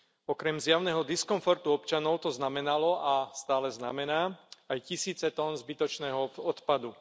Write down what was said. Okrem zjavného diskomfortu občanov to znamenalo a stále znamená aj tisíce ton zbytočného odpadu.